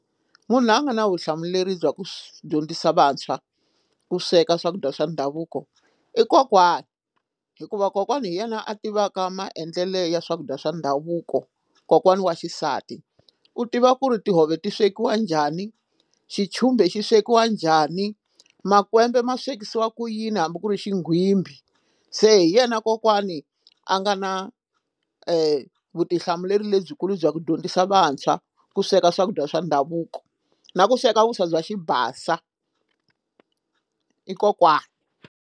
Munhu loyi a nga na vutihlamuleri bya ku swi dyondzisa vantshwa ku sweka swakudya swa ndhavuko i kokwani hikuva kokwana hi yena a tivaka maendlelo ya swakudya swa ndhavuko kokwana wa xisati u tiva ku ri tihove ti swekiwa njhani xichumbe xi swekiwa njhani makwembe ma swekisiwa ku yini hambi ku ri xigwimbhi se hi yena kokwani a nga na vutihlamuleri lebyikulu bya ku dyondzisa vantshwa ku sweka swakudya swa ndhavuko na ku sweka vuswa bya xibasa i kokwana.